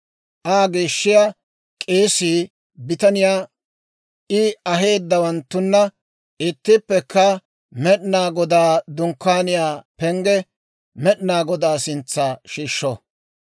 Aa geeshshiyaa k'eesii bitaniyaa I aheedawanttuna ittippekka Med'inaa Godaa Dunkkaaniyaa pengge Med'inaa Godaa sintsa shiishsho.